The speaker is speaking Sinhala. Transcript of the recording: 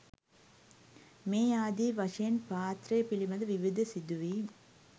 මේ ආදී වශයෙන් පාත්‍රය පිළිබඳ විවිධ සිදුවීම්